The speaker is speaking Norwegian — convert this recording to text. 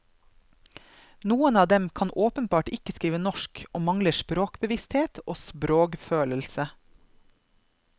Noen av dem kan åpenbart ikke skrive norsk, og mangler sprogbevissthet og sprogfølelse.